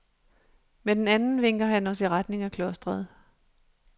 Med den anden vinker han os i retning af klostret.